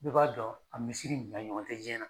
Bɛɛ b'a dɔn a misiri nin a ɲɔgɔn tɛ diɲɛ na.